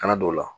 Kana don o la